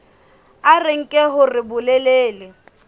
a re nke hore bolelele